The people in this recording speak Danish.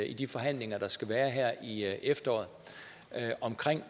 i de forhandlinger der skal være her i efteråret om